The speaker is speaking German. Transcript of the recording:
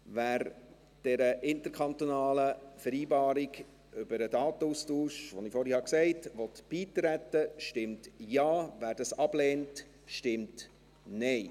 Wer dieser interkantonalen Vereinbarung über den Datenaustausch, die ich vorhin genannt habe, beitreten will, stimmt Ja, wer dies ablehnt, stimmt Nein.